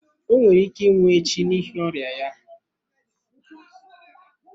O nwere ike ịnwụ echi n’ihi ọrịa ya.